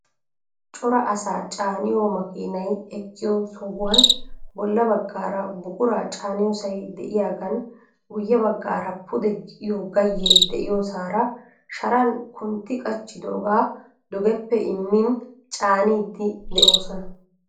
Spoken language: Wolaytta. Cora asaa caaniyo makiinay eqqiyoo sohuwan bolla baggaara buquraa caaniyoosay de"iyaagan guyye baggaara pude gi"iyoo gayyee de"iyoosaara sharan kuntti qachchidoogaa dugeppe immin caaniiddi de'oosona.